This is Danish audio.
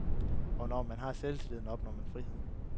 Og når man har selvtillid, opnår man frihed.